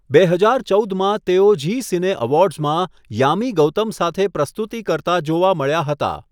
બે હજાર ચૌદ માં, તેઓ ઝી સિને એવોર્ડ્સમાં યામી ગૌતમ સાથે પ્રસ્તુતિ કરતા જોવા મળ્યા હતા.